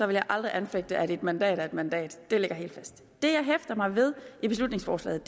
vil jeg aldrig anfægte at en mandat er en mandat det ligger helt fast det jeg hæfter mig ved i beslutningsforslaget